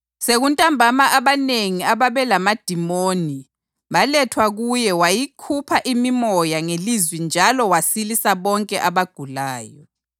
Sekuntambama abanengi ababelamadimoni balethwa kuye wayikhupha imimoya ngelizwi njalo wasilisa bonke abagulayo.